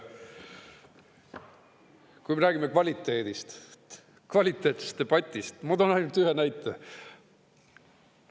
Kui me räägime kvaliteedist, kvaliteetsest debatist, ma toon ainult ühe näite.